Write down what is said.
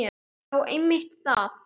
Já einmitt það.